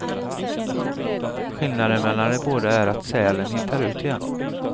Skillnaden mellan de båda är att sälen hittar ut igen.